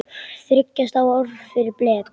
Þriggja stafa orð fyrir blek?